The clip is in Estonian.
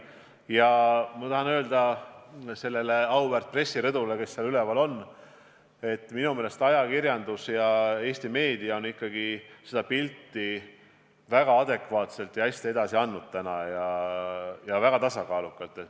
Ja ma tahan öelda sellele auväärt pressirõdule seal üleval, et minu meelest on Eesti ajakirjandus seda pilti väga adekvaatselt, hästi ja tasakaalukalt edasi andnud.